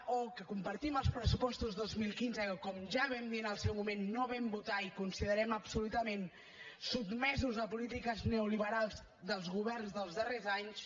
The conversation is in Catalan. o que compartim els pressupostos de dos mil quinze que com ja vam dir en el seu moment no vam votar i considerem absolutament sotmesos a polítiques neoliberals dels governs dels darrers anys